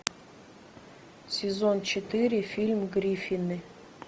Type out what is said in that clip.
сезон четыре фильм гриффины